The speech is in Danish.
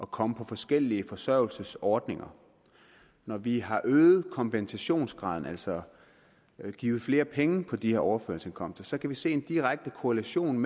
komme på forskellige forsørgelsesordninger når vi har øget kompensationsgraden altså givet flere penge på de her overførselsindkomster så kan vi se en direkte korrelation